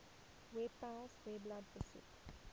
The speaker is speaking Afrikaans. webpals webblad besoek